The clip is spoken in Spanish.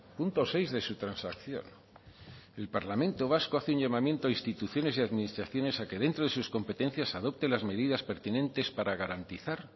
punto seis de su transacción el parlamento vasco hace un llamamiento a instituciones y administraciones a que dentro de sus competencias adopte las medidas pertinentes para garantizar